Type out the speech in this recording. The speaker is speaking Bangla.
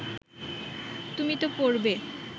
তুমি তো পড়বে